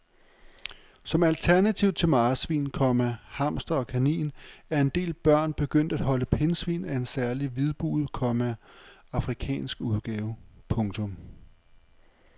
Som alternativ til marsvin, komma hamster og kanin er en del børn begyndt at holde pindsvin af en særlig hvidbuget, komma afrikansk udgave. punktum